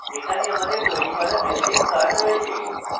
এখানে আমাদের তৈরী করা visiting cards রয়েছে